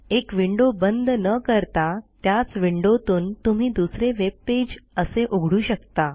एक विंडो बंद न करता त्याच विंडोतून तुम्ही दुसरे वेब पेज असे उघडू शकता